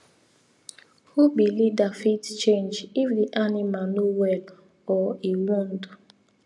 who be leader fit change if the animal no well or e wound